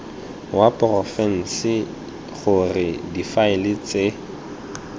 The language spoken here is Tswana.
wa porofense gore difaele tse